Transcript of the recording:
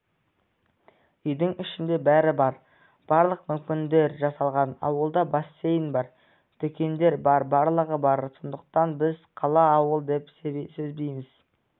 үйдің ішінде бәрі бар барлық мүмкіндіктер жасалған ауылда бассейн бар дүкендер бар барлығы бар сондықтан біз қала ауыл деп сезбейміз